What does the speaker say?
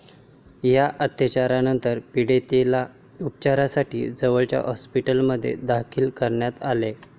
या अत्याचारानंतर पीडितेला उपचारांसाठी जवळच्या हॉस्पिटलमध्ये दाखल करण्यात आले.